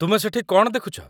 ତୁମେ ସେଠି କ'ଣ ଦେଖୁଛ?